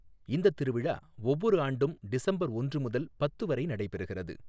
இந்தத் திருவிழா ஒவ்வொரு ஆண்டும் டிசம்பர் ஒன்று முதல் பத்து வரை நடைபெறுகிறது.